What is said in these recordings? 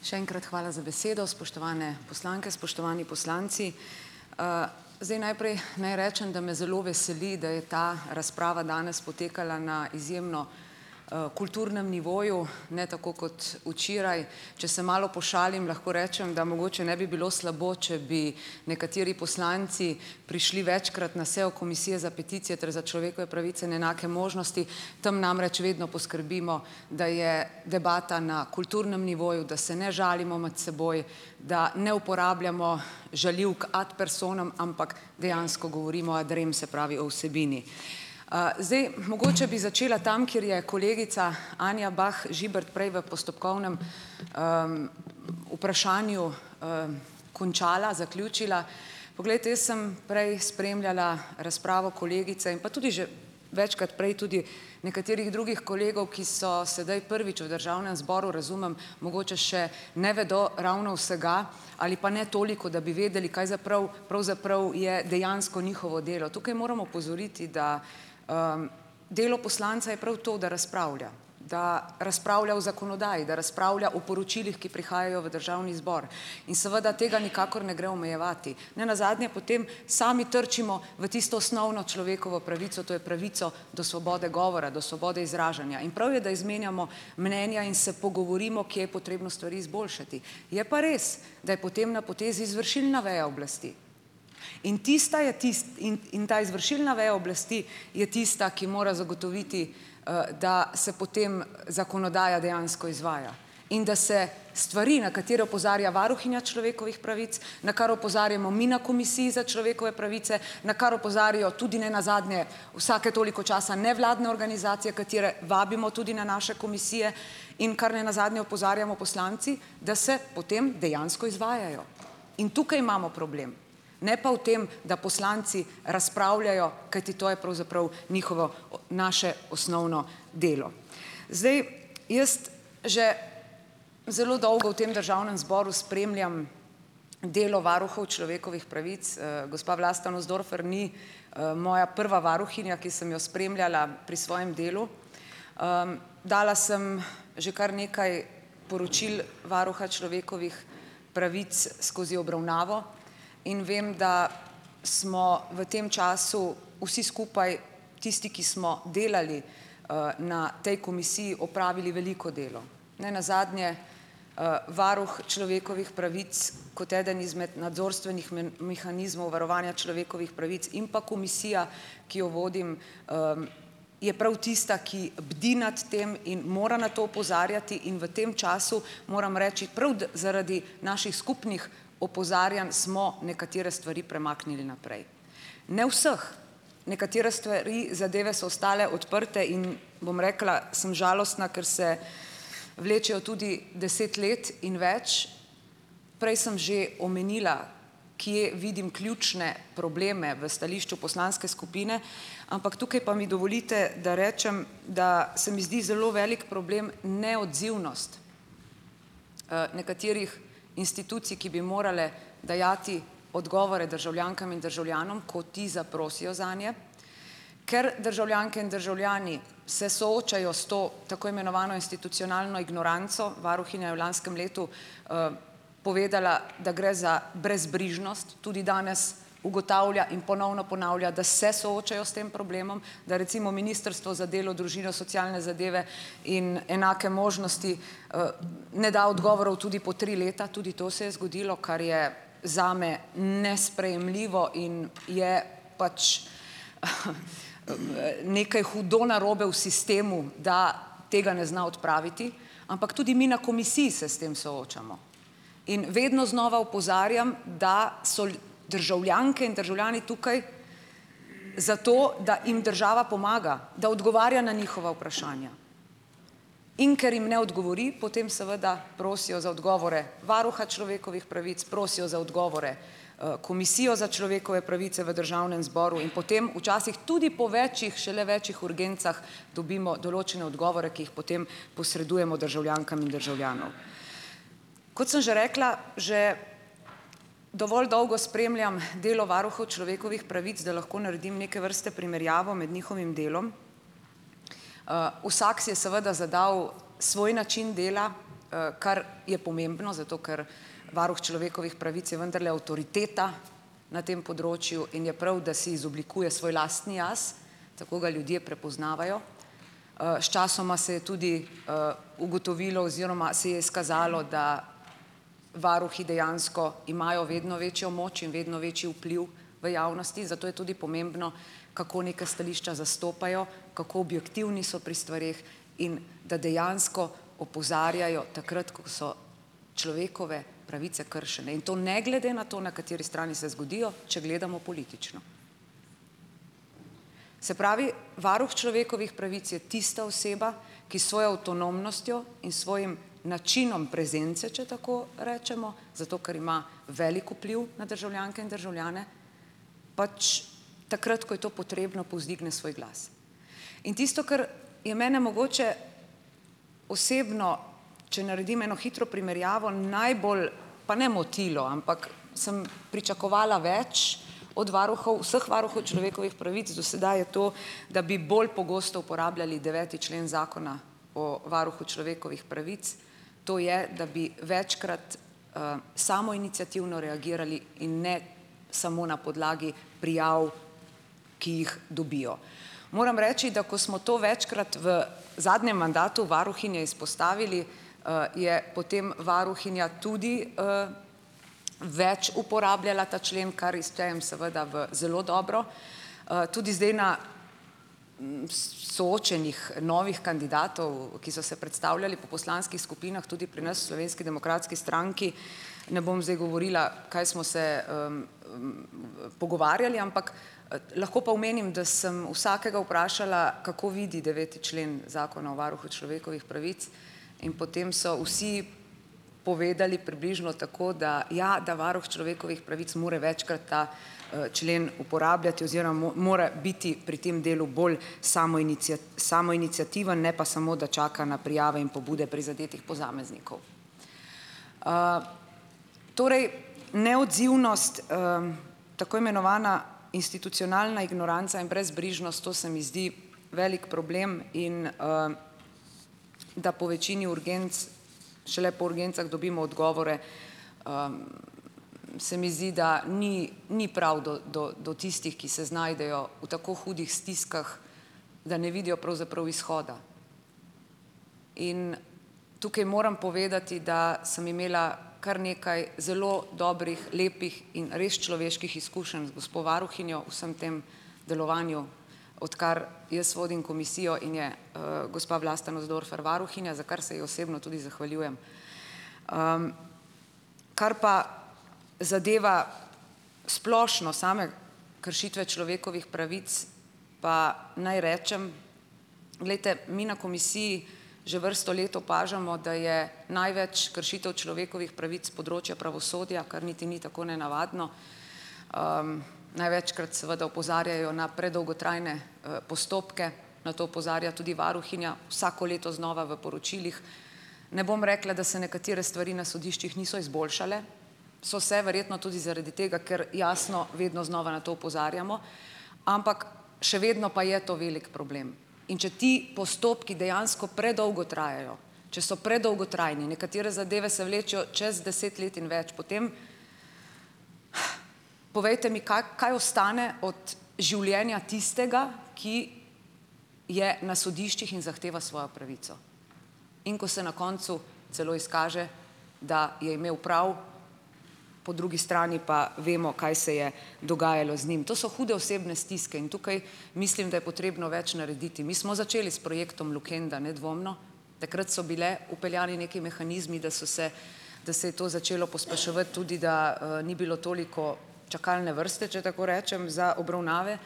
Še enkrat hvala za besedo. Spoštovane poslanke, spoštovani poslanci. Zdaj, najprej naj rečem, da me zelo veseli, da je ta razprava danes potekala na izjemno kulturnem nivoju, ne tako kot včeraj. Če se malo pošalim, lahko rečem, da mogoče ne bi bilo slabo, če bi nekateri poslanci prišli večkrat na sejo Komisije za peticije ter za človekove pravice in enake možnosti, tam namreč vedno poskrbimo, da je debata na kulturnem nivoju, da se ne žalimo med seboj, da ne uporabljamo žaljivk ad personam, ampak dejansko govorimo ad rem, se pravi o vsebini. Zdaj mogoče bi začela tam, kjer je kolegica Anja Bah Žibert prej v postopkovnem vprašanju končala, zaključila. Poglejte, jaz sem prej spremljala razpravo kolegice pa tudi že večkrat prej tudi nekaterih drugih kolegov, ki so sedaj prvič v Državnem zboru - razumem, mogoče še ne vedo ravno vsega ali pa ne toliko, da bi vedeli, kaj pravzaprav je dejansko njihovo delo. Tukaj moram opozoriti, da delo poslanca je prav to, da razpravlja. Da razpravlja o zakonodaji. Da razpravlja o poročilih, ki prihajajo v Državni zbor. In seveda tega nikakor ne gre omejevati. Ne nazadnje potem sami trčimo v tisto osnovno človekovo pravico, to je pravico do svobode govora, do svobode izražanja. In prav je, da izmenjamo mnenja in se pogovorimo, kje je potrebno stvari izboljšati. Je pa res, da je potem na potezi izvršilna veja oblasti. In tista je tisti in in ta izvršilna veja oblasti je tista, ki mora zagotoviti, da se potem zakonodaja dejansko izvaja. In da se stvari, na katere opozarja varuhinja človekovih pravic, na kar opozarjamo mi na Komisiji za človekove pravice, na kar opozarjajo tudi nenazadnje, vsake toliko časa, nevladne organizacije, katere vabimo tudi na naše komisije, in kar nenazadnje opozarjamo poslanci, da se potem dejansko izvajajo. In tukaj imamo problem. Ne pa v tem, da poslanci razpravljajo, kajti to je pravzaprav njihovo, naše osnovno delo. Zdaj jaz že zelo dolgo v tem Državnem zboru spremljam delo varuhov človekovih pravic, gospa Vlasta Nussdorfer ni moja prva varuhinja, ki sem jo spremljala pri svojem delu. Dala sem že kar nekaj poročil Varuha človekovih pravic skozi obravnavo in vem, da smo v tem času vsi skupaj, tisti, ki smo delali na tej komisiji, opravili veliko delo. Nenazadnje, Varuh človekovih pravic kot eden izmed nadzorstvenih mehanizmov varovanja človekovih pravic in pa komisija, ki jo vodim je prav tista, ki bdi nad tem in mora na to opozarjati, in v tem času, moram reči, prav da zaradi naših skupnih opozarjanj smo nekatere stvari premaknili naprej. Ne vseh. Nekatere stvari, zadeve so ostale odprte in, bom rekla, sem žalostna, ker se vlečejo tudi deset let in več. Prej sem že omenila, kje vidim ključne probleme v stališču poslanske skupine, ampak tukaj pa mi dovolite, da rečem, da se mi zdi zelo velik problem neodzivnost nekaterih institucij, ki bi morale dajati odgovore državljankam in državljanom, ko ti zaprosijo zanje, ker državljanke in državljani se soočajo s to, tako imenovano institucionalno ignoranco. Varuhinja je v lanskem letu povedala, da gre za brezbrižnost, tudi danes ugotavlja in ponovno ponavlja, da se soočajo s tem problemom. Da recimo Ministrstvo za delo, družino, socialne zadeve in enake možnosti ne da odgovorov tudi po tri leta, tudi to se je zgodilo, kar je zame nesprejemljivo in je pač nekaj hudo narobe v sistemu, da tega ne zna odpraviti. Ampak tudi mi na komisiji se s tem soočamo in vedno znova opozarjam, da so državljanke in državljani tukaj zato, da jim država pomaga, da odgovarja na njihova vprašanja. In ker jim ne odgovori, potem seveda prosijo za odgovore varuha človekovih pravic, prosijo za odgovore Komisijo za človekove pravice v Državnem zboru in potem včasih tudi po več, šele več urgencah, dobimo določene odgovore, ki jih potem posredujemo državljankam in državljanom. Kot sem že rekla, že dovolj dolgo spremljam delo varuhov človekovih pravic, da lahko naredim neke vrste primerjavo med njihovim delom. Vsak si je seveda zadal svoj način dela, kar je pomembno, zato ker varuh človekovih pravic je vendarle avtoriteta na tem področju in je prav, da si izoblikuje svoj lastni jaz. Tako ga ljudje prepoznavajo. Sčasoma se je tudi ugotovilo oziroma se je izkazalo, da varuhi dejansko imajo vedno večjo moč in vedno večji vpliv v javnosti, zato je tudi pomembno, kako neka stališča zastopajo, kako objektivni so pri stvareh in da dejansko opozarjajo takrat, ko so človekove pravice kršene in to ne glede na to, na kateri strani se zgodijo, če gledamo politično. Se pravi, varuh človekovih pravic je tista oseba, ki s svojo avtonomnostjo in svojim načinom prezence, če tako rečemo, zato ker ima velik vpliv na državljanke in državljane, pač takrat, ko je to potrebno, povzdigne svoj glas. In tisto, kar je mene mogoče osebno, če naredim eno hitro primerjavo, najbolj, pa ne motilo, ampak sem pričakovala več od varuhov, vseh varuhov človekovih pravic do sedaj, je to, da bi bolj pogosto uporabljali deveti člen Zakona o Varuhu človekovih pravic, to je, da bi večkrat samoiniciativno reagirali in ne samo na podlagi prijav, ki jih dobijo. Moram reči, da ko smo to večkrat v zadnjem mandatu varuhinje izpostavili, je potem varuhinja tudi več uporabljala ta člen, kar ji štejem seveda v zelo dobro. Tudi zdaj na soočenjih novih kandidatov, ki so se predstavljali po poslanskih skupinah tudi pri nas v Slovenski demokratski stranki, ne bom zdaj govorila, kaj smo se pogovarjali, ampak lahko pa omenim, da sem vsakega vprašala, kako vidi deveti člen Zakona o Varuhu človekovih pravic, in potem so vsi povedali približno tako, da ja, da varuh človekovih pravic mora večkrat ta člen uporabljati oziroma mora biti pri tem delu bolj samoiniciativen, ne pa samo da čaka na prijave in pobude prizadetih posameznikov. Torej, neodzivnost tako imenovana institucionalna ignoranca in brezbrižnost, to se mi zdi velik problem, in da po večini urgenc šele po urgencah dobimo odgovore, se mi zdi, da ni ni prav do do do tistih, ki se znajdejo v tako hudih stiskah, da ne vidijo pravzaprav izhoda. In tukaj moram povedati, da sem imela kar nekaj zelo dobrih, lepih in res človeških izkušenj z gospo varuhinjo v vsem tem delovanju, odkar jaz vodim komisijo in je gospa Vlasta Nussdorfer varuhinja, za kar se jih osebno tudi zahvaljujem. Kar pa zadeva splošno same kršitve človekovih pravic, pa naj rečem, glejte, mi na komisiji že vrsto let opažamo, da je največ kršitev človekovih pravic s področja pravosodja, kar niti ni tako nenavadno. Največkrat seveda opozarjajo na predolgotrajne postopke. Na to opozarja tudi varuhinja vsako leto znova v poročilih. Ne bom rekla, da se nekatere stvari na sodiščih niso izboljšale. So se, verjetno tudi zaradi tega, ker jasno vedno znova na to opozarjamo, ampak še vedno pa je to velik problem. In če ti postopki dejansko predolgo trajajo, če so predolgotrajni, nekatere zadeve se vlečejo čez deset let in več, potem povejte mi, kaj ostane od življenja tistega, ki je na sodiščih in zahteva svojo pravico. In ko se na koncu celo izkaže, da je imel prav, po drugi strani pa vemo, kaj se je dogajalo z njim. To so hude osebne stiske in tukaj mislim, da je potrebno več narediti. Mi smo začeli s projektom Lukenda, nedvomno. Takrat so bili vpeljani neki mehanizmi, da so se, da se je to začelo pospeševati, tudi da ni bilo toliko čakalne vrste, če tako rečem, za obravnave.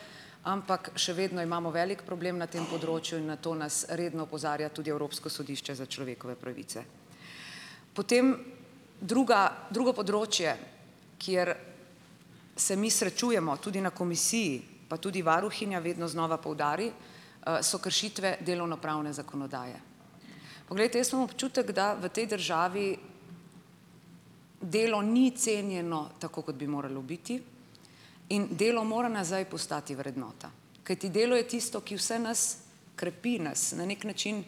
Ampak še vedno imamo velik problem na tem področju in na to nas redno opozarja tudi Evropsko sodišče za človekove pravice. Potem, druga drugo področje, kjer se mi srečujemo, tudi na komisiji, pa tudi varuhinja vedno znova poudari, so kršitve delovno-pravne zakonodaje. Poglejte, jaz imam občutek, da v tej državi delo ni cenjeno tako, kot bi moralo biti, in delo mora nazaj postati vrednota, kajti delo je tisto, ki vse nas krepi nas. Na neki način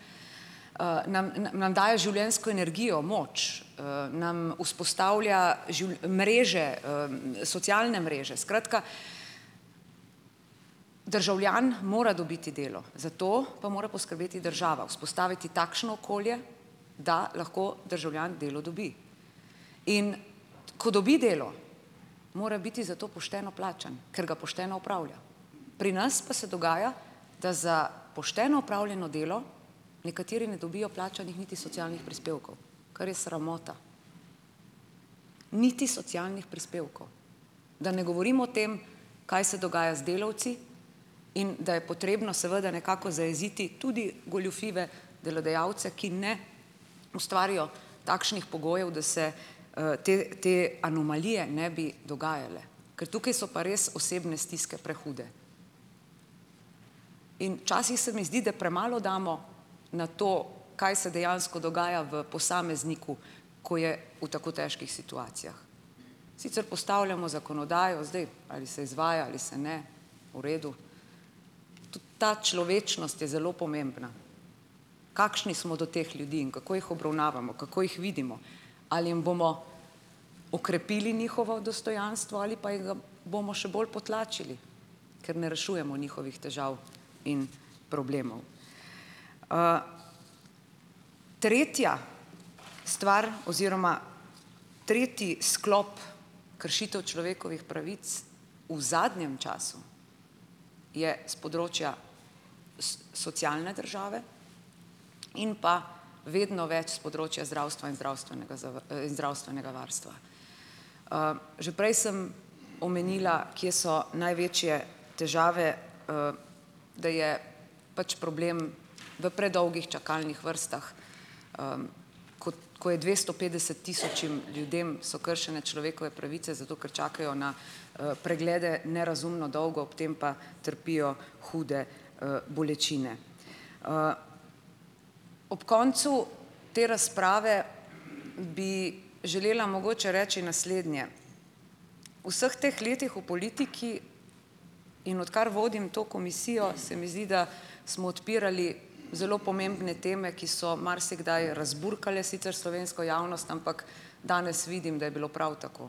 nam nam daje življenjsko energijo, moč, nam vzpostavlja mreže, socialne mreže. Skratka, državljan mora dobiti delo. Za to pa mora poskrbeti država. Vzpostaviti takšno okolje, da lahko državljan delo dobi. In ko dobi delo, mora biti za to pošteno plačan, ker ga pošteno opravlja. Pri nas pa se dogaja, da za pošteno opravljeno delo nekateri ne dobijo plačanih niti socialnih prispevkov, kar je sramota. Niti socialnih prispevkov. Da ne govorim o tem, kaj se dogaja z delavci, in da je potrebno seveda nekako zajeziti tudi goljufive delodajalce, ki ne ustvarijo takšnih pogojev, da se te te anomalije ne bi dogajale. Ker tukaj so pa res osebne stiske prehude. In včasih se mi zdi, da premalo damo na to, kaj se dejansko dogaja v posamezniku, ko je v tako težkih situacijah. Sicer postavljamo zakonodajo, zdaj, ali se izvaja, ali se ne, v redu. Ta človečnost je zelo pomembna. Kakšni smo do teh ljudi in kako jih obravnavamo, kako jih vidimo. Ali jim bomo okrepili njihovo dostojanstvo ali pa jim ga bomo še bolj potlačili, ker ne rešujemo njihovih težav in problemov? Tretja stvar oziroma tretji sklop kršitev človekovih pravic v zadnjem času je s področja socialne države in pa vedno več s področja zdravstva in zdravstvenega zdravstvenega varstva. Že prej sem omenila, kje so največje težave, da je pač problem v predolgih čakalnih vrstah, ko je dvesto petdeset tisočim ljudem so kršene človekove pravice, zato ker čakajo na preglede nerazumno dolgo, ob tem pa trpijo hude bolečine. Ob koncu te razprave bi želela mogoče reči naslednje. V vseh teh letih v politiki, in odkar vodim to komisijo, se mi zdi, da smo odpirali zelo pomembne teme, ki so marsikdaj razburkale sicer slovensko javnost, ampak danes vidim, da je bilo prav tako,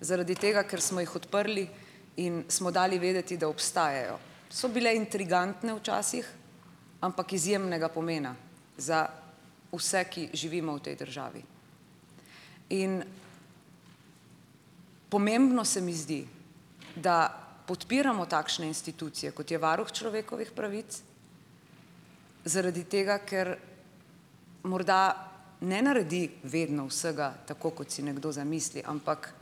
zaradi tega, ker smo jih odprli in smo dali vedeti, da obstajajo. So bile intrigantne včasih, ampak izjemnega pomena za vse, ki živimo v tej državi. In pomembno se mi zdi, da podpiramo takšne institucije, kot je Varuh človekovih pravic, zaradi tega, ker morda ne naredi vedno vsega tako, kot si nekdo zamisli, ampak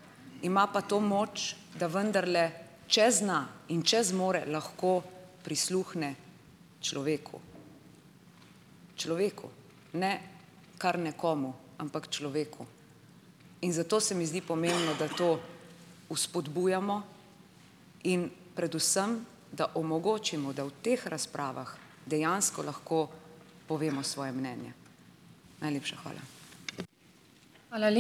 ima pa to moč, da vendarle, če zna in če zmore, lahko prisluhne človeku. Človeku, ne kar nekomu, ampak človeku, in zato se mi zdi pomembno, da to vzpodbujamo in predvsem, da omogočimo, da v teh razpravah dejansko lahko povemo svoje mnenje. Najlepša hvala.